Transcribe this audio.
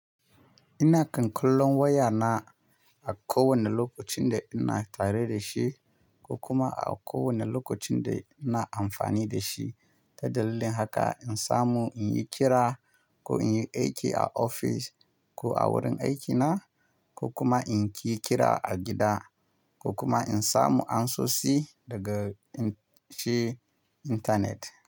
Ina kan kallon waya na a kowane lokacin da ina tare da shi ko kuma a kowane lokacin da ina amfani da shi. Ta dalilin haka, in samu in yi kira ko in yi aiki a ofis ko a wurin aikina ko kuma in ki kira a gida ko kuma in samu ansosi daga shi intanet.